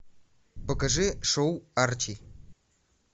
покажи шоу арчи